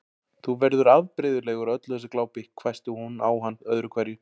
Þú verður afbrigðilegur af öllu þessu glápi hvæsti hún á hann öðru hverju.